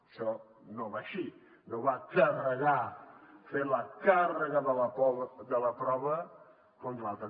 això no va així no va de carregar fer la càrrega de la prova contra l’altre